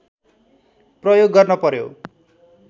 प्रयोग गर्न पर्‍यो